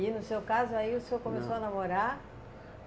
E no seu caso aí o senhor começou a namorar?